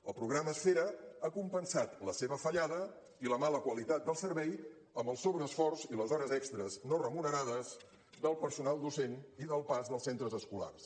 el programa esfera ha compensat la seva fallada i la mala qualitat del servei amb el sobreesforç i les hores extres no remunerades del personal docent i del pas dels centres escolars